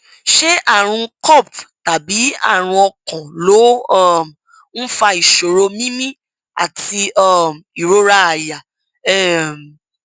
ṣé àrùn copd tàbí àrùn ọkàn ló um ń fa ìṣòro mímí àti um ìrora àyà um